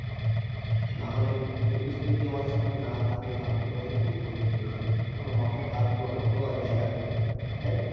নাহলে কিন্তু পরিবেশ যদি আমাদের সাথে না থাকে তাহলে কিন্তু আমাদের খুব ক্ষতি হয়ে যায়, তখন মাথায় হাত দেওয়ার মতো আর জায়গা থাকে না, তাই না?